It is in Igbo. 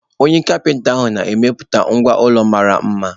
Onye kapinta na-emepụta ngwá ụlọ mara mma.